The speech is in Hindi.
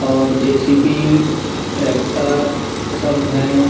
और जे. सी. बी. ट्रेक्टर सब है।